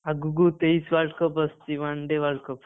ଆଗକୁ ତେଇସି World Cup ଆସୁଛି One Day World Cup